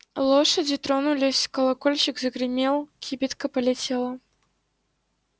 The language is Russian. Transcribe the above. лошади тронулись колокольчик загремел кибитка полетела